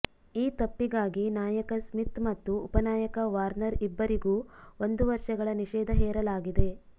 ಈ ತಪ್ಪಿಗಾಗಿ ನಾಯಕ ಸ್ಮಿತ್ ಮತ್ತು ಉಪ ನಾಯಕ ವಾರ್ನರ್ ಇಬ್ಬರಿಗೂ ಒಂದು ವರ್ಷಗಳ ನಿಷೇಧ ಹೇರಲಾಗಿದೆ